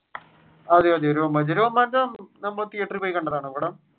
അതെ അതെ രോമാഞ്ചം. രോമാഞ്ചം നമ്മൾ തീയറ്ററിൽ പോയി കണ്ടതാണോ പടം?